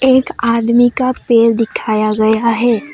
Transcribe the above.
एक आदमी का पैर दिखाया गया है।